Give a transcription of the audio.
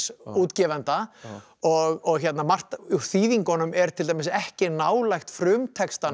útgefanda og margt úr þýðingunum er til dæmis ekki nálægt frumtextanum